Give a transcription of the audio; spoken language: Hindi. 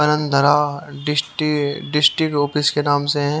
आनंद धारा डिस्टि डिस्टिक ऑफिस के नाम से है।